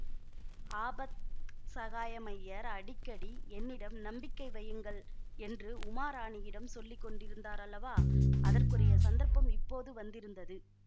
ஆபத் சகாயமய்யர் அடிக்கடி என்னிடம் நம்பிக்கை வையுங்கள் என்று உமாராணியிடம் சொல்லி கொண்டிருந்தாரல்லவா அதற்குரிய சந்தர்ப்பம் இப்போது வந்திருந்தது